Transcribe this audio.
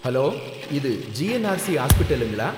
Hello! இது GNRC ஹாஸ்பிடலுங்களா